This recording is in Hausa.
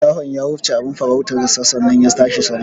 Shahon ya wufce abin farautarsa sannan ya tashi sama.